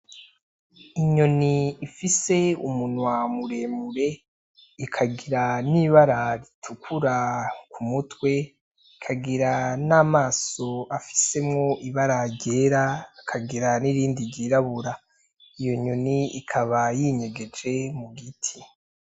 Inyoni ifise umunwa muremure, ikagira n'ibara ritukura ku mutwe, ikagira namaso afisemwo ibara ryera, ikagira n'irindi ryirabura iyo nyoni ikaba yinyegeje mu giti.